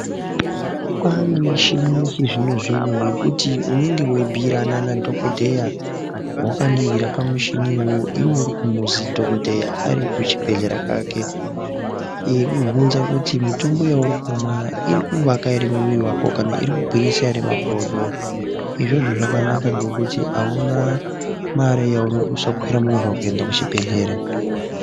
Kwane michini yechizvino zvino yekuti unenge weibhiirana nadhokodheya wakaningira pamuchini iwowo iwewe uri kumuzi dhokodheya ari kuchibhedhleya kwake eikuvhunze kuti mitombo yauri kumwa iri kuvaka ere mwiri wako kana iri kugwinyisa ere makodo izvozvo zvakanaka nekuti aune mari yaunoduse kuende kuchibhedhleya.